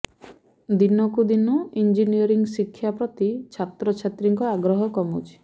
ଦିନକୁ ଦିନ ଇଞ୍ଜିନିୟରିଂ ଶିକ୍ଷା ପ୍ରତି ଛାତ୍ରଛାତ୍ରୀଙ୍କ ଆଗ୍ରହ କମୁଛି